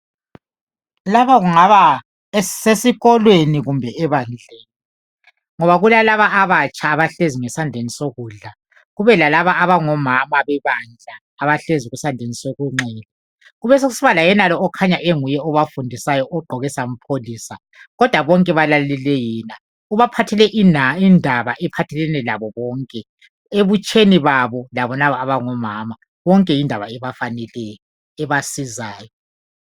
Laba kungaba sesikolweni kumbe ebandleni, ngoba kulalaba abatsha abahleziyo ngesandleni sokudla kubelabomama bebandla abahlezi kusandleni soxhele. Kubekusiba layenalo okhanya enguye obafundisayo ogqoke sampholisa. Kodwa bonke balalele yena, ubaphathele indaba ephathelene labo bonke ebutsheni babo labolaba abangomama, bonke yindaba ebafaneleyo ebasizayo.